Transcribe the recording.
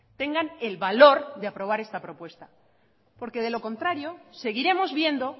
tengan el valor de aprobar esta propuesta porque de lo contrario seguiremos viendo